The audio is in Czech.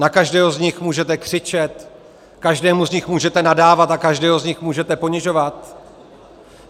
Na každého z nich můžete křičet, každému z nich můžete nadávat a každého z nich můžete ponižovat?